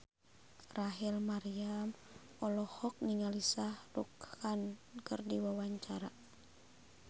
Rachel Maryam olohok ningali Shah Rukh Khan keur diwawancara